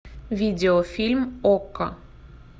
видеофильм окко